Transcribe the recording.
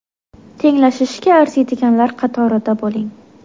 Tenglashishga arziydiganlar qatorida bo‘ling.